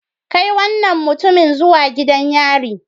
Kai wannan mutumin zuwa gidan yari